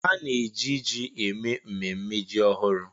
A na-eji ji eme mmemme ji ọhụrụ.